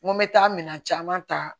N ko n bɛ taa minɛn caman ta